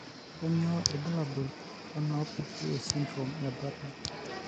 Kainyio irbulabul onaapuku esindirom eBartter?